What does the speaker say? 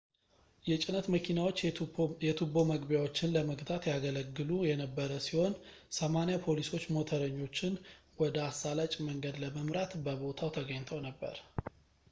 የጭነት መኪናዎች የቱቦ መግቢያዎች ን ለመግታት ያገለግሉ የነበረ ሲሆን 80 ፖሊሶች ሞተረኞችን ወደ አሳላጭ መንገድ ለመምራት በቦታው ተገኝተው ነበር